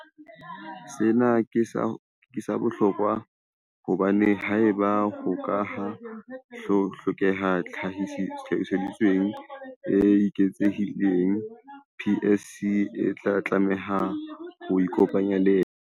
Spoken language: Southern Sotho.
Sena ke sa bohlokwa hobane haeba ho ka ha hlokeha tlhahisoleseding e eketsehileng, PSC e tla tlameha ho ikopanya le yena.